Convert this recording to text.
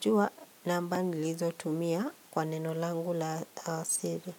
jua namba nilizotumia kwa neno langu la siri.